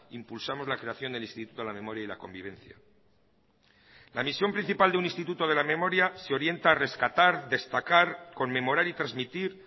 impulsamos la creación del instituto de la memoria y la convivencia la misión principal de un instituto de la memoria se orienta a rescatar destacar conmemorar y transmitir